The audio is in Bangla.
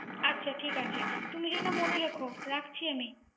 আচ্ছা ঠিক আছে। তুমি জেনো মনে রেখো! রাখছি আমি।